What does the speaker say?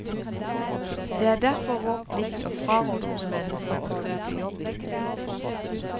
Det er derfor vår plikt å fraråde unge mennesker å søke jobb i skolen.